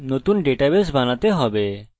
এর জন্য এখানে একটি সামান্য বাক্স আছে